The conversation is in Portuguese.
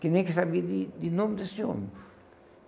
que nem que sabia de de nome desse homem.